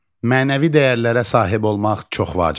Mənəvi dəyərlərə sahib olmaq çox vacibdir.